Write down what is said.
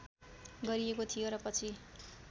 गरिएको थियो र पछि